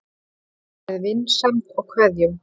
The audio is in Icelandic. Með vinsemd og kveðjum